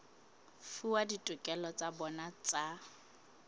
fuwa ditokelo tsa bona tsa